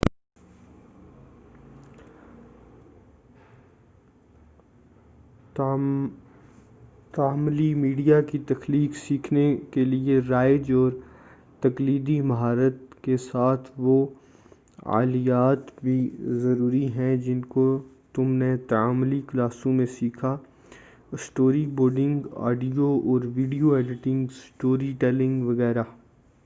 تعاملی media کی تخلیق سیکھنے کے لئے رائج اور تقلیدی مہارات کے ساتھ وہ آلیات بھی ضروری ہیں جن کو تم نے تعاملی کلاسوں میں سیکھا اسٹوری ۔بورڈنگ، آڈیو اور ویڈیو ایڈیٹنگ، اسٹوری ٹیلنگ، وغیرہ۔